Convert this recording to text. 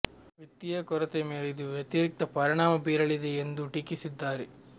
ವಿತ್ತೀಯ ಕೊರತೆ ಮೇಲೆ ಇದು ವ್ಯತಿರಿಕ್ತ ಪರಿಣಾಮ ಬೀರಲಿದೆ ಎಂದೂ ಟೀಕಿಸಿದ್ದಾರೆ